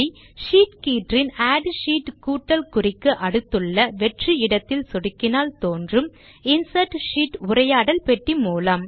sheet கீற்றின் add sheet கூட்டல் குறிக்கு அடுத்துள்ள வெற்று இடத்தில் சொடுக்கினால் தோன்றும் இன்சர்ட் ஷீட் உரையாடல் பெட்டி மூலம்